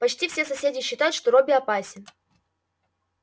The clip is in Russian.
почти все соседи считают что робби опасен